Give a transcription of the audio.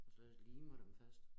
Og så limer dem fast